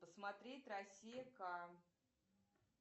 смотреть россия к